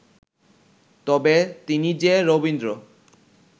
তবে তিনি যে রবীন্দ্র